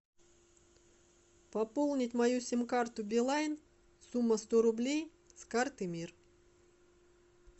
пополнить мою сим карту билайн сумма сто рублей с карты мир